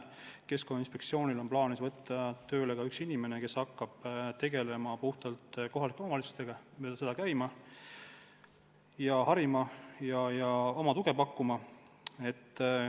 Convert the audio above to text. Keskkonnainspektsioonil on plaanis võtta tööle üks inimene, kes hakkab tegelema ainult kohalike omavalitsustega, mööda neid käima ja harima ja oma tuge pakkuma.